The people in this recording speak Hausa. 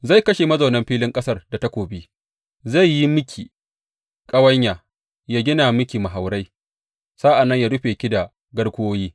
Zai kashe mazaunan filin ƙasar da takobi; zai yi miki ƙawanya, ya gina miki mahaurai, sa’an nan ya rufe ki da garkuwoyi.